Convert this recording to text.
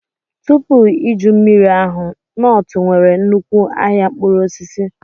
Tupu iju mmiri ahụ, Nortu nwere nnukwu ahịa mkpụrụ osisi.